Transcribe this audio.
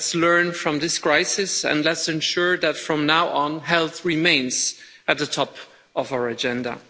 Let's learn from this crisis and let's ensure that, from now on, health remains at the top of our agenda.